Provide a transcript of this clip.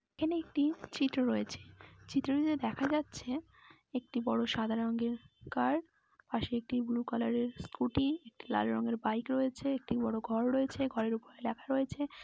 এখানে একটী চিত্র রয়েছে ।চিত্রটিতে দেখা যাচ্ছে একটি বড়ো সাদা কার পাশে একটি ব্লু কালার এর স্কুটি একটি লাল রঙের বাইক রয়েছে একটি বড়ো ঘর রয়েছে। ঘরের উপরে লেখা রয়েছে--